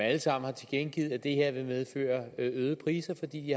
alle sammen tilkendegivet at det her vil medføre øgede priser fordi de